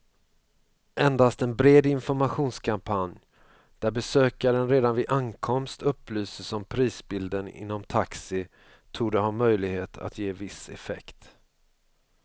Endast en bred informationskampanj, där besökaren redan vid ankomst upplyses om prisbilden inom taxi torde ha möjlighet att ge viss effekt.